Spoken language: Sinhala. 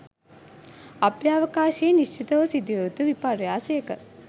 අභ්‍යවකාශයේ නිශ්චිතව සිදුවිය යුතු විපර්යාසයක